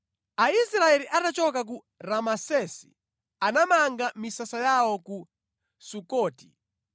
Aisraeli atachoka ku Ramesesi, anamanga misasa yawo ku Sukoti.